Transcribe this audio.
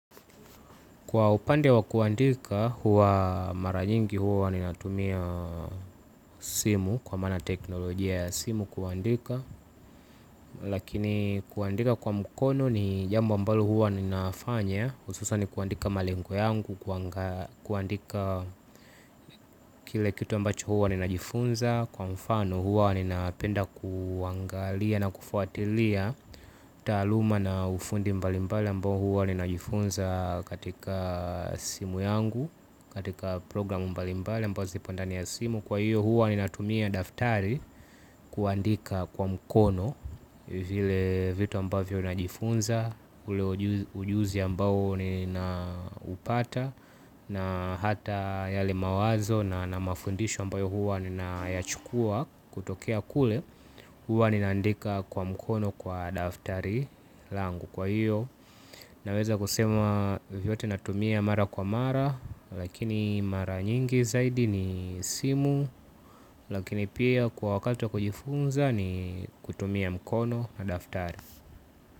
Kwa upande wa kuandika huwa mara nyingi huwa ni natumia simu kwa mana teknolojia ya simu kuandika. Lakini kuandika kwa mukono ni jambo ambalo huwa ninafanya ususani kuandika malengo yangu, kuandika kile kitu ambacho huwa ninajifunza. Kwa mfano huwa nina penda kuangalia na kufuatilia taaluma na ufundi mbali mbali ambao huwa ninajifunza katika simu yangu. Katika programu mbalimbali ambazo zipo ndani ya simu. Kwa hiyo huwa ninatumia daftari kuandika kwa mkono. Vile vitu ambavyo najifunza ule ujuzi ambao ni na upata. Na hata yale mawazo na na mafundisho ambayo huwa ni na yachukua kutokea kule. Huwa ninaandika kwa mkono kwa daftari langu kwa hiyo. Naweza kusema vyovyote natumia mara kwa mara. Lakini mara nyingi zaidi ni simu. Lakini pia kwa wakati wa kujifunza ni kutumia mkono na daftari.